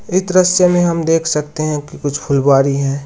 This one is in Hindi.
इस दृश्य में हम देख सकते हैं कि कुछ फुलवारी है।